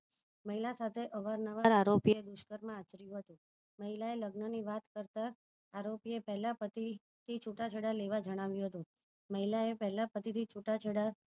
મહિલા સાથે અવારનવાર આરોપી દુષ્કર્મ આચર્યું હતું મહિલા એ લગન ની વાત કરતા આરોપી એ પેલા પત્ની થી છુટા છેડા લેવા જણાવ્યું હતું મહિલા એ પહેલા પતિ થી છુટા છેડા